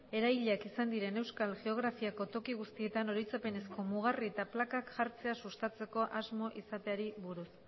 erailiak izan ziren euskal geografiako toki guztietan oroitzapenezko mugarri eta plakak jartzea sustatzeko asmo izateari buruz